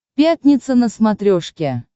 пятница на смотрешке